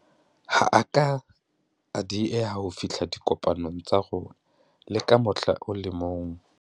Ha a ke a dieha ho fihla dikopanong tsa rona le ka mohla o le mong.